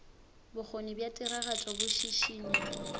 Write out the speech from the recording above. bokgoni bja tiragatšo bo šišinya